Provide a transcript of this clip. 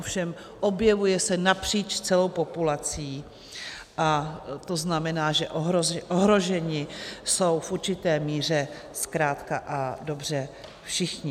Ovšem objevuje se napříč celou populací a to znamená, že ohroženi jsou v určité míře zkrátka a dobře všichni.